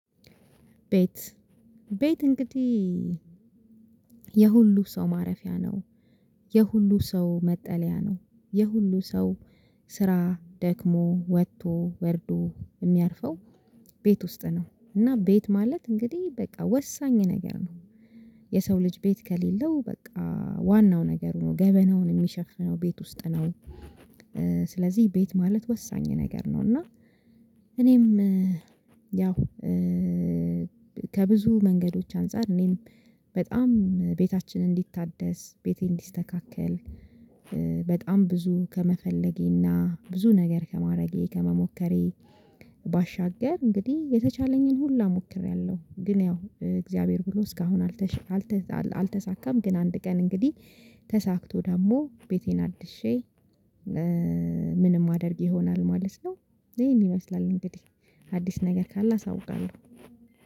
ቤት ቤት እንግዲህ የሁሉ ሰው ማረፊያ ነው። የሁሉ ሰው መጠለያ ነው የሁሉ ሰው ስራ ደክሞ ወጥቶ ወርዶ የሚያርፈው። ቤት ውስጥ ነው እና ቤት ማለት እንግዲህ በቃ ወሳኝ ነገር ነው። የሰው ልጅ ቤት ከሌለው በቃ ዋናው ነገር ነው ገበናውን የሚሸፍነው ቤት ውስጥ ነው። ስለዚህ ቤት ማለት ወሳኝ ነገር ነው። እና እኔም ያው ከብዙ መንገዶች አንፃር እኔም በጣም ቤታችን እንዲታደስ ቤቴ እንዲስተካከል። በጣም ብዙ ከመፈለጌና ብዙ ነገር ከማድረጌ ከመሞከሬ ባሻገር እንግዲህ የተቻለኝን ሁላ ሞክሬያለሁ። ግን ያው እግዚአብሔር ብሎ እስካሁን አልተሳካም። ግን አንድ ቀን እንግዲህ ተሳክቶ ደግሞ ቤቴን አድሼ ምንም አደርግ ይሆናል ማለት ነው። ይሄን ይመስላል እንግዲህ አዲስ ነገር ካለ አሳውቃለሁ